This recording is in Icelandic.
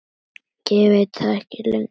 Ég veit það ekki lengur.